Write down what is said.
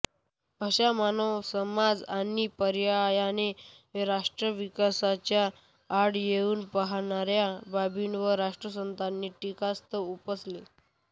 अशा मानव समाजआणि पर्यायाने राष्ट्राविकासाच्या आड येऊ पाहणाऱ्या बाबींवर राष्ट्रसंतांनी टीकास्त्र उपसले